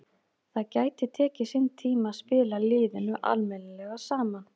Það gæti tekið sinn tíma að spila liðinu almennilega saman.